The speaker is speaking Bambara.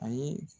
A ye